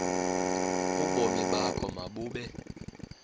ubomi bakho mabube